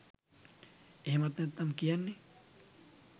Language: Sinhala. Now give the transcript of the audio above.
එහෙමත් නැත්නම් කියන්නෙ